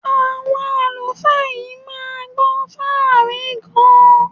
Àwọn àlùfáà yìí máa gbọ́ fáàrí gan-an.